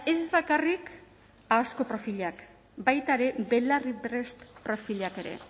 ez bakarrik ahozko profilak baita ere belarriprest profilak ere